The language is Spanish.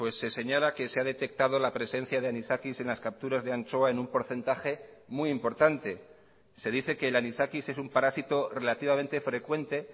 se señala que se ha detectado la presencia de anisakis en las capturas de anchoa en un porcentaje muy importante se dice que el anisakis es un parásito relativamente frecuente